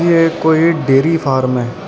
ਇਹ ਕੋਈ dairy farm --